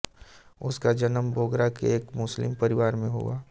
उनका जन्म बोगरा के एक मुस्लिम परिवार में हुआ